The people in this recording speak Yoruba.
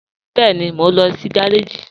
Bẹẹni, mọ̀ n lọ sí gàràjì.